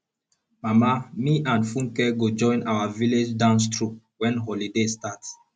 mama me and funke go join our village dance troupe wen holiday start